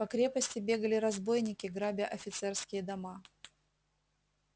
по крепости бегали разбойники грабя офицерские дома